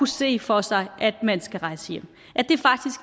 se for sig at man skal rejse hjem det